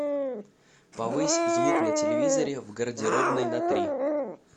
повысь звук на телевизоре в гардеробной на три